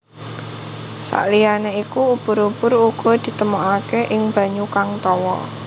Saliyane iku ubur ubur uga ditemokaké ing banyu kang tawa